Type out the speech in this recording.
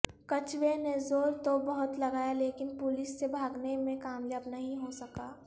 کچھوے نے زور تو بہت لگایا لیکن پولیس سے بھاگنے میں کامیاب نہیں ہو سکا